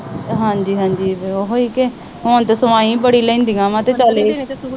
ਹਾਂਜੀ, ਹਾਂਜੀ। ਹੁਣ ਤਾਂ ਸਵਾਈ ਬੜੀ ਲੈਂਦੀਆਂ।